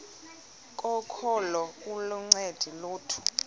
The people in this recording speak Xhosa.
kokholo aluncedi lutho